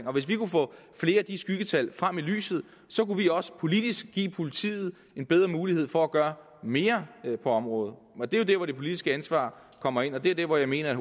om hvis vi kunne få flere af de skyggetal frem i lyset kunne vi også politisk give politiet en bedre mulighed for at gøre mere på området det er der hvor det politiske ansvar kommer ind og det er der hvor jeg mener at